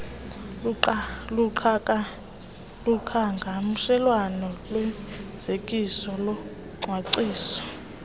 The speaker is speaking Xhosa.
kuqhagamshelwano kufezekiso locwangciso